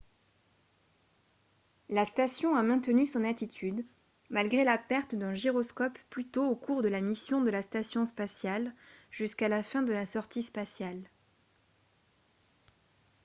la station a maintenu son attitude malgré la perte d'un gyroscope plus tôt au cours de la mission de la station spatiale jusqu'à la fin de la sortie spatiale